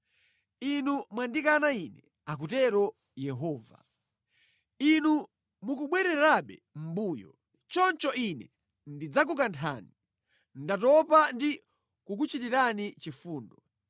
Inu mwandikana Ine,” akutero Yehova. “Inu mukubwererabe mʼmbuyo. Choncho Ine ndidzakukanthani. Ndatopa ndi kukuchitirani chifundo.